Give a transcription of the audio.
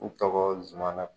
Ontɔgɔ zumana.